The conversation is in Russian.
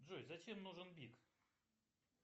джой зачем нужен бик